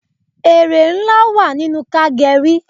Ère ńlá wà nínú ká geri